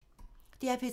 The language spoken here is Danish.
DR P3